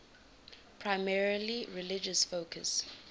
primarily religious focus